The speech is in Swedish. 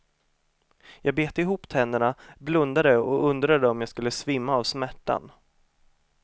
Jag bet ihop tänderna, blundade och undrade om jag skulle svimma av smärtan.